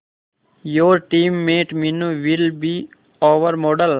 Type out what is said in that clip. your team mate Meenu will be our model